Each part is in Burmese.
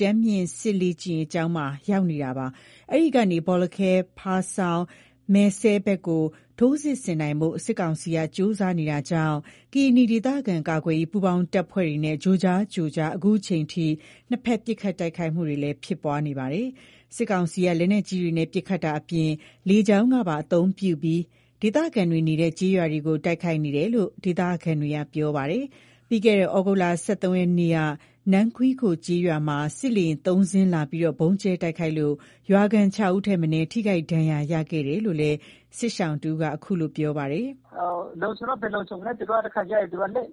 တန်းမြင့်စစ်လေ့ကျင်းရေးကျောင်းမှာ ရောက်ရှိနေတာပါ။ အဲ့ဒီကနေ ဘောလခဲ ဖားဆောင်း၊ မယ်စဲဖက်ကို ထိုးစစ်ဆင်နိုင်ဖို့ စစ်ကောင်စီက ကြိုးစားနေတာကြောင့် ကရင်နီဒေသခံကာကွယ်ရေး ပူးပေါင်းတပ်ဖွဲ့တွေနဲ့ ကြိုကြားကြိုကြား ခုချိန်ထိ နှစ်ဖက်ပစ်ခတ်တိုက်ခိုက်ဖြစ်ပွားနေပါတယ်။ စစ်ကောင်စီက လက်နက်ကြီးတွေနဲ့ ပစ်ခတ်တာအပြင် လေကြောင်းပါ အသုံးပြုပြီး ဒေသခံတွေနေတဲ့ ကျေးရွာကို တိုက်ခိုက်နေတယ်လို့ ဒေသခံတွေက ပြောပါတယ်။ ပြီးခဲ့တဲ့ သြဂုတ် ၁၃ ရက်နေ့က နန်းခွီးခိုကျေးရွာမှာ စစ်လေယာဉ် ၃စင်း လာပြီး ဗုံးကျဲတိုက်ခိုက်လို့ ရွာခံ ၆ယောက်ထက်မနည်း ထိခိုက်ဒဏ်ရာရခဲ့တယ်လို့လည်း စစ်ရှောင်က ခုလို ပြောပါတယ်။ လုံခြုံတော့ ဘယ်လုံခြုံမလဲ တခါကျရင် သူက လေယာဉ်နဲ့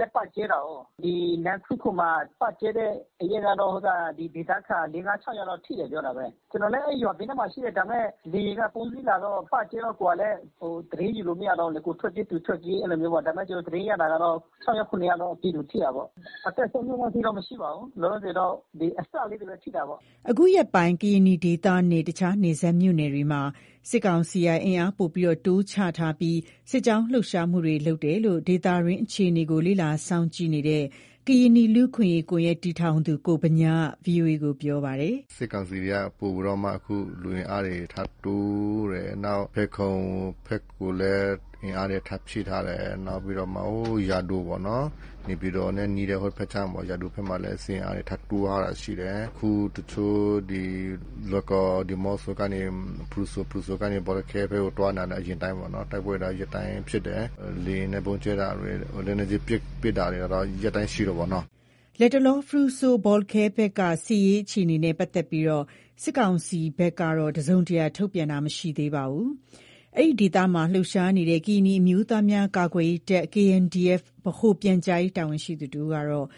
လည်း ပတ်ကျဲတာကိုး။ ဒီ နန်းခွီးခိုမှာ ပတ်ကျဲတဲ့နေ့ကတော့ ဒီဒေသခံ ၄၊ ၅ ၊ ၆ယောက် လောက်ထိတယ် ပြောတာပဲ။ ကျနော်လည်း အဲ့ရွာဘေးနားမှာ ရှိတယ် ဒါပေမယ့် လေယာဉ်က ၃စီးလာတော့ ပတ်ကျဲတော့ ကိုယ်ကလည်း သတင်းယူလို့မရတော့ဘူးလေ၊ ကိုယ်ထွက်ပြေး သူထွက်ပြေး အဲ့လိုမျိုးပေါ့၊ ဒါပေမယ့် ကျနော ်သတင်းရတာ ကတော့ ၆ယောက် ၇ယောက်တော့ ပြည်သူထိတာပေါ့၊ အသက်ဆုံးရှုံးတဲ့အထိတော့ မရှိပါဘူး” အခုရက်ပိုင်း ကရင်နီဒေသနဲ့ တခြားနယ်စပ်မြို့နယ်တွေမှာ စစ်ကောင်စီကအင်အားပိုမိုတိုးချထားပြီး စစ်ကြောင်းလှုပ်ရှားနေတယ်လို့ ဒေသတွင်း အခြေနေကို လေ့လာစောင့်ကြည့်နေတဲ့ ကရင်နီလူ့အခွင့်အရေး ကွန်ယက် တည်ထောင်သူ ကိုဗညားက ဗွီအိုအေကို ပြောပါတယ်။ “စစ်ကောင်စီတွေက ပိုပြီးတော့မှ လူအင်အားတွေ ထပ်တိုးတယ်။ဖယ်ခုံဖက်ကိုလည်း အင်အားတွေထပ်ဖြည့်ထားတယ်။ နောက်ပြီးတော့မှ ဟို...ယာဒိုပေါ့နော် နေပြည်တော်နဲ့ နီးတဲ့ ဟိုဖက်ခြမ်းပေါ့ ယာဒိုမှာလည်း စစ်အင်အားထပ်ဖြည့်ထားတာရှိတယ်။ အခုတချို့ ဒီလွိုင်ကော် ဒီးမော့ဆိုကနေ ဖရူဆို၊ ဖရူဆိုကနေ ဘောလခဲဘက်ကို သွားနေတာ အရင်အတိုင်းပဲပေါ့နော်၊ တိုက်ပွဲက ရက်တိုင်းဖြစ်တယ်။ လေယာဉ်နဲ့ ဗုံးကျဲတာတွေ လက်နက်ကြီးပစ်တာကတော့ ရက်တိုင်းရှိတယ်ပေါ့နော်။´´ လတ်တလော ဖရူဆို-ဘောလခဲဘက်က စစ်ရေးအခြေအနေနဲ့ ပတ်သက်လို့ စစ်ကောင်စီဘက်က တစုံတရာ ထုတ်ပြန်တာ မရှိသေးပါဘူး။ အဲ့ဒီဒေသမှာ လှုပ်ရှားနေတဲ့ ကရင်နီအမျိုးသားများ ကာကွယ်ရေးတပ် ဗဟိုပြန်ကြားရေး တာဝန်ရှိသူ တဦးကတော့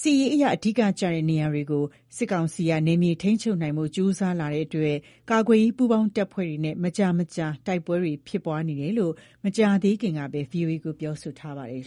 စစ်ရေးအရ အဓိကကျတဲ့ နေရာတွေ ကို စစ်ကောင်စီက နယ်မြေထိန်းချုပ်နိုင်ဖို့ ကြိုးစားလာတာကြောင့် ကာကွယ်ရေး ပူးပေါင်းတပ်ဖွဲ့တွေနဲ့ မကြာမကြာ တိုက်ပွဲဖြစ်ပွားနေတယ်လို့ မကြာသေးခင်က ဗွီအိုအေကို ပြောထားပါတယ်